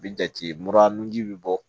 Bi jate mura nun ji bɛ bɔ